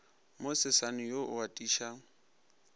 mo sesane wo o atišago